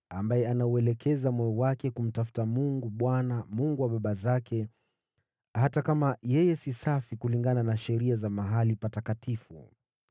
ambaye anauelekeza moyo wake kumtafuta Mungu, Bwana , Mungu wa baba zake, hata kama yeye si safi kulingana na sheria za mahali patakatifu.”